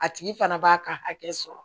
A tigi fana b'a ka hakɛ sɔrɔ